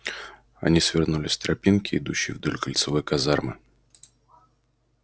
они свернули с тропинки идущей вдоль кольцевой казармы